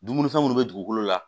Dumunifɛn minnu bɛ dugukolo la